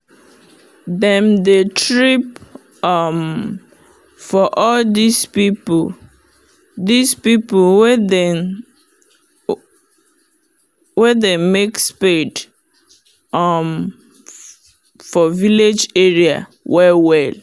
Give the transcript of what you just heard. them dey trip um for all these people these people wen dey um make spade for um village area well well.